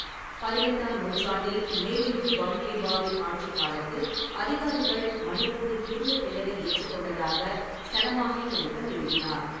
பதினெட்டாம் நூற்றாண்டில் மெய்டிங்கு பம்ஹெய்பாவின் ஆட்சிக் காலத்தில் அதிகாரிகள் மணிப்பூரின் புதிய பெயரை ஏற்றுக்கொண்டதாக சனமாஹி லைகன் எழுதினார்.